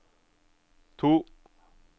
to